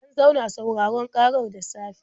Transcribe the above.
An zauna sauraron ƙarar da safe.